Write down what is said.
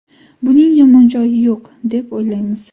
Buning yomon joyi yo‘q, deb o‘ylaymiz.